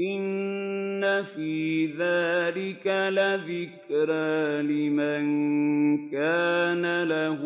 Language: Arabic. إِنَّ فِي ذَٰلِكَ لَذِكْرَىٰ لِمَن كَانَ لَهُ